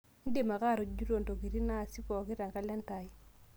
indim ake atujuto ntokitin naasi pooki te kalenda aai